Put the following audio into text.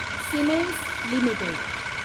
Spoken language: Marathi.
Siemens limited